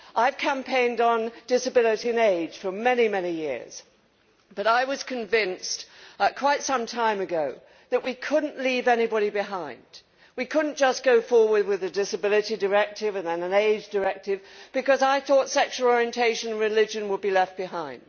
I have campaigned on disability and age for many years, but I was convinced quite some time ago that we could not leave anybody behind. We could not just go forward with a disability directive, and then an age directive, because I thought sexual orientation and religion would be left behind.